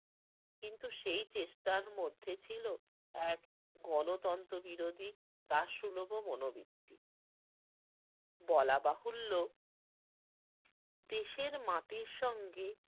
কিন্তু সেই চেষ্টার মধ্যে ছিল এক গণনতন্ত্র বিরোধী দাসসুলভও মনোবৃত্তি। বলা বাহুল্য দেশের মাটির সঙ্গে